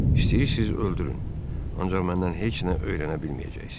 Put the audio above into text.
İstəyirsiz öldürün, ancaq məndən heç nə öyrənə bilməyəcəksiz.